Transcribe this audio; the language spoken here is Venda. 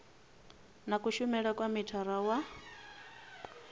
na kushumele kwa mithara wa